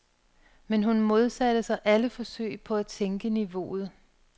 Men hun modsatte sig alle forsøg på at sænke niveauet.